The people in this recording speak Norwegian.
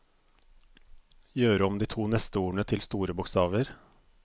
Gjør om de to neste ordene til store bokstaver